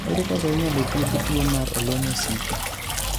Ere kaka inyalo thiedh tuwo mar olo mosiko?